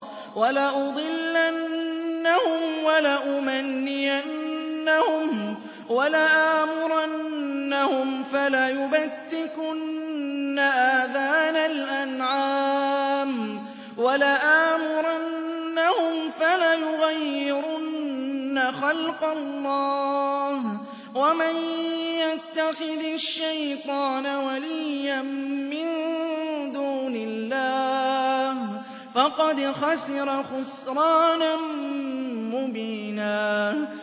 وَلَأُضِلَّنَّهُمْ وَلَأُمَنِّيَنَّهُمْ وَلَآمُرَنَّهُمْ فَلَيُبَتِّكُنَّ آذَانَ الْأَنْعَامِ وَلَآمُرَنَّهُمْ فَلَيُغَيِّرُنَّ خَلْقَ اللَّهِ ۚ وَمَن يَتَّخِذِ الشَّيْطَانَ وَلِيًّا مِّن دُونِ اللَّهِ فَقَدْ خَسِرَ خُسْرَانًا مُّبِينًا